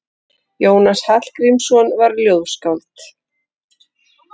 Jónas Hallgrímsson var ljóðskáld.